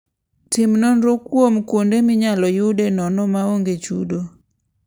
Tim nonro kuom kuonde minyalo yude nono ma onge chudo.